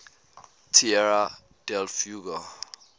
tierra del fuego